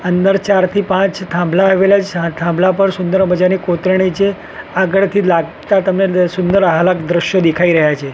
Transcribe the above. અંદર ચાર થી પાંચ થાંભલા આવેલા છે થાંભલા પર સુંદર મઝાની કોતરણી છે આગળથી લાગતા તમને સુંદર આહલાક દ્રશ્યો દેખાય રહ્યા છે.